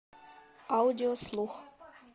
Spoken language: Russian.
аудиослух